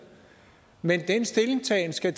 men at den stillingtagen skal